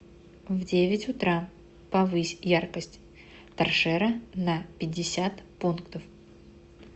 в девять утра повысь яркость торшера на пятьдесят пунктов